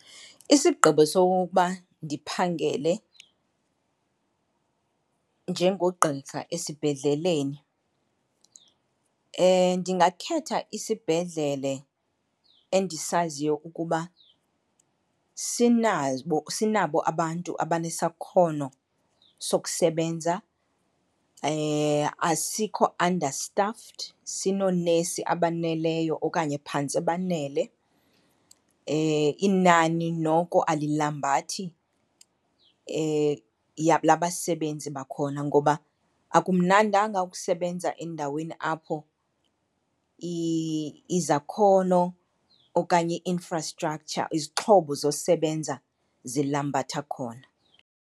Isigqibo sokokuba ndiphangele njengogqirha esibhedleleni ndingakhetha isibhedlele endisaziyo ukuba sinabo abantu abanesakhono sokusebenza, asikho understaffed, sinoonesi abaneleyo okanye phantse banele, inani noko alilambathi labasebenzi bakhona. Ngoba akumnandanga ukusebenza endaweni apho izakhono okanye i-infrastructure, izixhobo zosebenza, zilambatha khona.